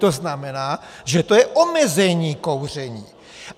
To znamená, že to je omezení kouření.